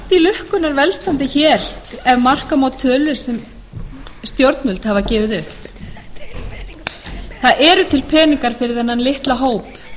lukkunnar velstandi hér ef marka má tölur sem stjórnvöld hafa gefið upp það eru til peningar fyrir þennan litla hóp